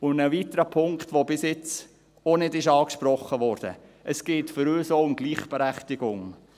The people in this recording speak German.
Ein weiterer Punkt, der bis jetzt auch noch nicht angesprochen wurde: Es geht für uns auch um Gleichberechtigung.